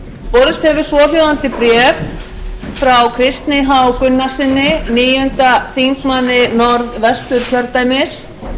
borist hefur svohljóðandi bréf frá kristni h gunnarssyni níundi þingmaður norðvesturkjördæmis